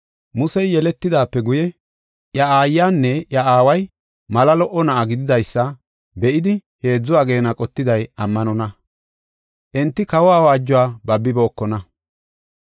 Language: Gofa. Musey yeletidaape guye iya aayanne iya aaway mala lo77o na7a gididaysa be7idi heedzu ageena qottiday ammanonna; enti kawa awaajuwa babibookona.